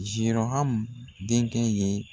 Zirɔhamu denkɛ ye.